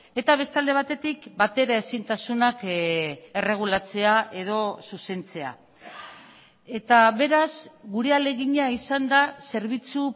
eta beste alde batetik bateraezintasunak erregulatzea edo zuzentzea eta beraz gure ahalegina izan da zerbitzu